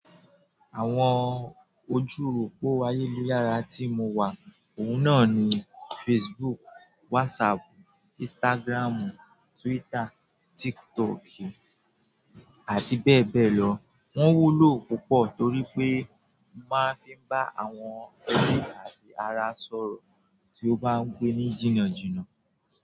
Àwọn ojú òpó ayélujára tí mo wà lórí wọn ni Facebook, WhatsApp, Instagram, Twitter, àti bẹ́ẹ̀ bẹ́ẹ̀ lọ. Wọ́n wúlò púpọ̀, torí pé mo máa ń fi wọ́n bá ẹbí àti àwọn ará mi tó ń gbé jìnnà sọ̀rọ̀.